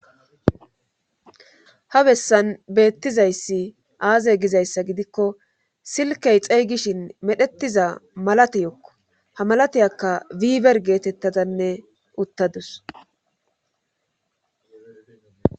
ha bessan beettizayssi aaze gizayssa gidikko silkey xeygishin medhetiza malate yokko ha malateyakka wiiber geetettadanne uttadus